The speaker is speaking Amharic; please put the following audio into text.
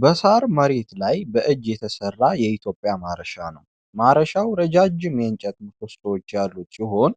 በሳር መሬት ላይ በእጅ የተሰራ የኢትዮጵያ ማረሻ ነው። ማረሻው ረዣዥም የእንጨት ምሰሶዎች ያሉት ሲሆን